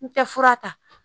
N tɛ fura ta